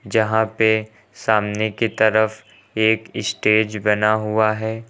जहां पे सामने की तरफ एक स्टेज बना हुआ है।